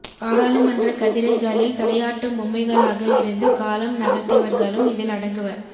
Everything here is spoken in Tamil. பாராளுமன்றக் கதிரைகளில் தலையாட்டும் பொம்மைகளாக இருந்து காலம் நகர்த்தியவர்களும் இதில் அடங்குவர்